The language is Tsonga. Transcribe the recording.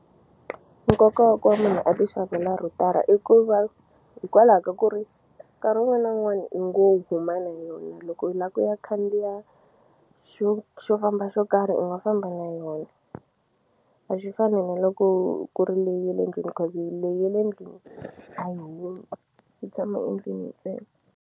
Nkoka wa ku va munhu a ti xavela rhutara i ku va hikwalaho ka ku ri nkarhi wun'wani na wun'wani i ngo kumana hi yona loko i la ku ya khandziya xo xo famba xo karhi u nga famba na yona a swi fani ni loko ku ri leyi ya le ndlwini cause leyi ye le ndlwini a yi humi yi tshama endlwini ntsena.